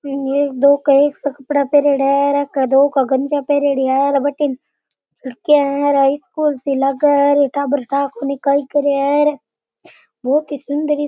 बीमे एक दो कई सा कपडा पहरेड़ा है और एक दो के गंज्या पहरयोड़ी है बठीने लड़कियां है र आ स्कूल सी लागे है और ऐ टाबर ठा कोनी कई कर रिया है बहुत ही सुन्दर --